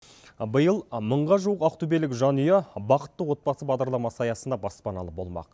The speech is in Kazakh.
биыл мыңға жуық ақтөбелік жанұя бақытты отбасы бағдарламасы аясында баспаналы болмақ